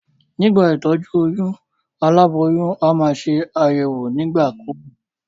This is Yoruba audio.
Nígbà ìtójú oyún, aláboyún a maa se àyèwò nígbà kúgbà